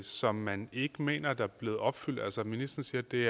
som man ikke mener er blevet opfyldt altså ministeren siger at det